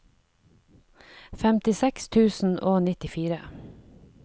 femtiseks tusen og nittifire